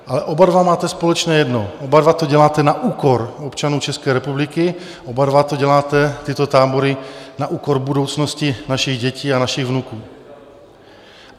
Ale oba dva máte společné jedno - oba dva to děláte na úkor občanů České republiky, oba dva to děláte, tyto tábory, na úkor budoucnosti našich dětí a našich vnuků.